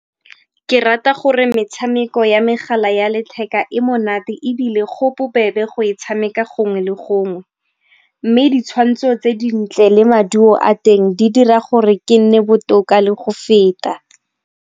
Ke rata gore metshameko ya megala ya letheka e monate ebile go bobebe go e tshameka gongwe le gongwe. Mme ditshwantsho tse dintle le maduo a teng di dira gore ke nne botoka le go feta.